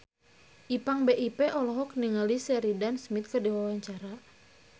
Ipank BIP olohok ningali Sheridan Smith keur diwawancara